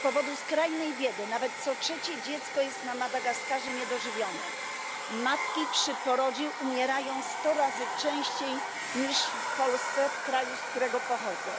Z powodu skrajnej biedy nawet co trzecie dziecko jest na Madagaskarze niedożywione, matki przy porodzie umierają 100 razy częściej niż w Polsce w kraju, z którego pochodzę.